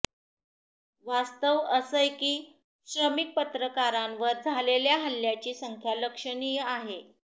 वास्तव असंय की श्रमिक पत्रकारांवर झालेल्या हल्ल्याची संख्या लक्षणीय आहे